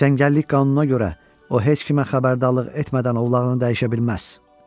Cəngəllik qanununa görə o heç kimə xəbərdarlıq etmədən ovlağını dəyişə bilməz.